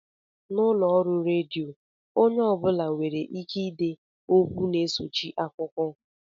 N'ụlọọrụ redio, onye ọ bụla nwereike ide okwu na-esochi akụkọ